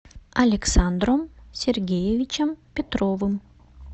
александром сергеевичем петровым